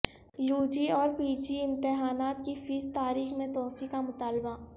you G اور P G امتحانات کی فیس تاریخ میں توسیع کا مطالبہ